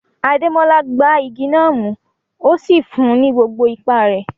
Ademola gbá igi náà mú, ó sì fún un ní gbogbo ipá rẹ̀.